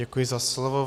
Děkuji za slovo.